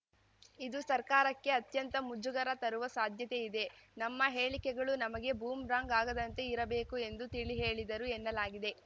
ಇದು ಸರ್ಕಾರಕ್ಕೆ ಅತ್ಯಂತ ಮುಜುಗರ ತರುವ ಸಾಧ್ಯತೆಯಿದೆ ನಮ್ಮ ಹೇಳಿಕೆಗಳು ನಮಗೆ ಬೂಮ್‌ರಾಂಗ್‌ ಆಗದಂತೆ ಇರಬೇಕು ಎಂದು ತಿಳಿಹೇಳಿದರು ಎನ್ನಲಾಗಿದೆ